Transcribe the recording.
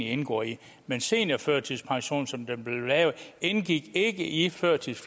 indgår i men seniorførtidspensionen som den blev lavet indgik ikke i i førtids